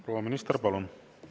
Aga mis see küsimus oli?